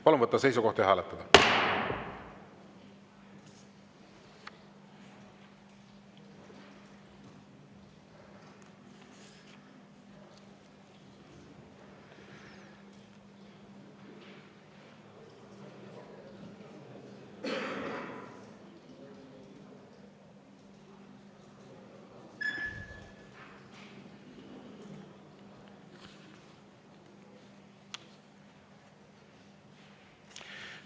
Palun võtta seisukoht ja hääletada!